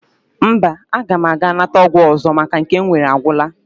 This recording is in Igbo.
Mba, aga m aga nata ọgwụ ọzọ maka na nke m nwere agwụla